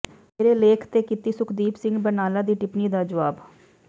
ਮੇਰੇ ਲੇਖ ਤੇ ਕੀਤੀ ਸੁਖਦੀਪ ਸਿੰਘ ਬਰਨਾਲਾ ਦੀ ਟਿੱਪਣੀ ਦਾ ਜੁਆਬ